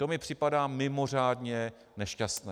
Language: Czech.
To mi připadá mimořádně nešťastné.